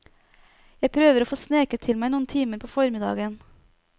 Jeg prøver å få sneket til meg noen timer på formiddagen.